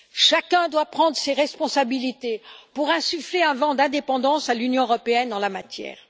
Chacun doit prendre ses responsabilités pour insuffler un vent d'indépendance à l'Union européenne en la matière.